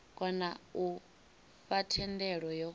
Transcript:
kona u fha thendelo yo